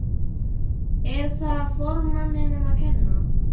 Er það formanninum að kenna?